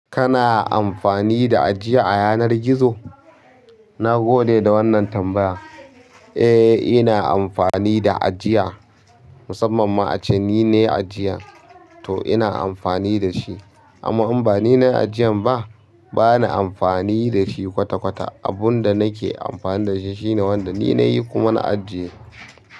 Kana amfani da ajiya a yanar gizo? Na gode da wannan tambaya. Eh ina amfani da ajiya, musamman ma ace ni ne ajiyan, to ina amfani da shi. Amma in ba ni ne ajiyan ba, bana amfani da shi kwata-kwata. Abun da nake amfani da shi shine wanda ni na yi kuma na ajiye.